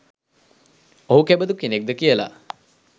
ඔහු කෙබඳු කෙනෙක්ද කියලා